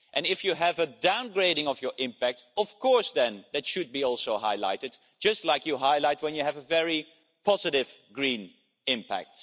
If you have a downgrading of your impact, of course that should be highlighted, just like you highlight when you have a very positive green impact.